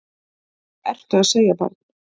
Hvað ertu að segja barn?